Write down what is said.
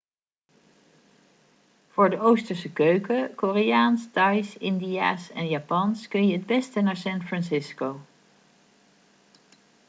voor de oosterse keuken koreaans thais indiaas en japans kun je het beste naar san francisco